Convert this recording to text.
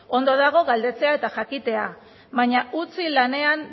ondo dago galdetzea eta jakitea baina utzi lanean